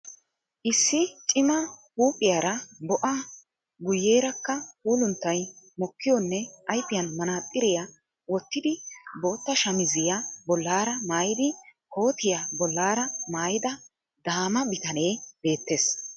Issi cima huuphiyaara bo'a guyeerakka puulunttay mokkiyonne ayifiyan manaaxxiriya wottidi bootta shamiziya bollaara mayyidi kootiya bollaara mayyida daama bitane beettes.